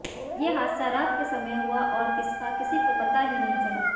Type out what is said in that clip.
ये हादसा रात के समय हुआ और इसका किसी को पता ही नहीं चला